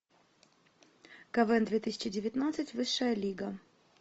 квн две тысячи девятнадцать высшая лига